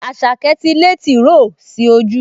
Àṣàkẹ́ ti lé tìróò sí ojú